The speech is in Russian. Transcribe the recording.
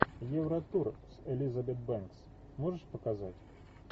евротур с элизабет бэнкс можешь показать